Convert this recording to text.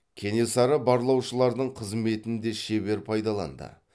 кенесары барлаушылардың қызметін де шебер пайдаланды